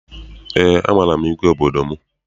Eé, amaara m igwe obodo m.